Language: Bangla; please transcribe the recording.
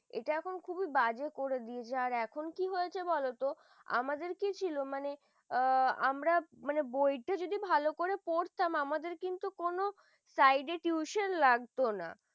এটা এখন খুব বাজে করে দিয়েছে এখন কি হয়েছে বলোতো? আমাদের কি ছিল মানে ও আমরা বইতা যদি ভালো করে পড়তাম আমাদের কিন্তু side কোন টিউশন লাগতো না ।